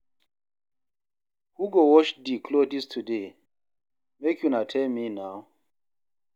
Who go wash di clothes today? make una tell me now.